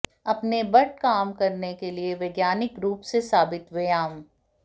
अपने बट काम करने के लिए वैज्ञानिक रूप से साबित व्यायाम